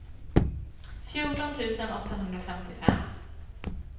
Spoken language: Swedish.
fjorton tusen åttahundrafemtiofem